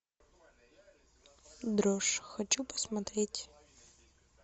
дрожь хочу посмотреть